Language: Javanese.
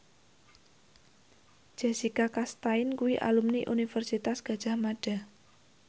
Jessica Chastain kuwi alumni Universitas Gadjah Mada